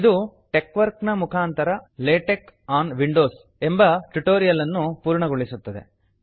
ಇದು ಟೆಕ್ವರ್ಕ್ ಮುಖಾಂತರ LaTeX on Windows ವಿಂಡೋವಿ ನಲ್ಲಿ ಲೇಟೆಕ್ ಎಂಬ ಟ್ಯುಟೋರಿಯಲ್ ಅನ್ನು ಪೂರ್ಣಗೊಳಿಸುತ್ತದೆ